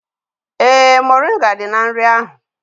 Ee, moringa dị na nri ahụ